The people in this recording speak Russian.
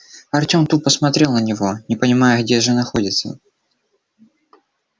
артем тупо смотрел на него не понимая где же находится